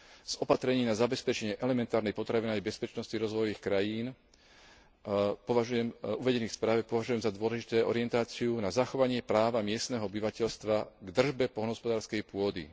Z opatrení na zabezpečenie elementárnej potravinovej bezpečnosti rozvojových krajín v uvedenej správe považujem za dôležitú orientáciu na zachovanie práva miestneho obyvateľstva k držbe poľnohospodárskej pôdy.